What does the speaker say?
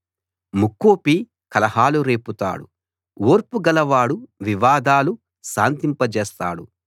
ముక్కోపి కలహాలు రేపుతాడు ఓర్పు గలవాడు వివాదాలు శాంతింపజేస్తాడు